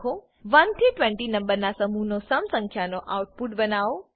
1 થી 20 નંબરના સમૂહનો સમ સંખ્યાનો આઉટપુટ બનાવો